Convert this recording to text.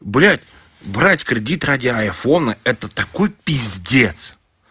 блядь брать кредит ради айфона это такой пиздец